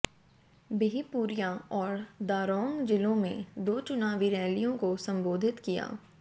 बिहपुरिया और दारोंग जिलों में दो चुनावी रैलियों को संबोधित किया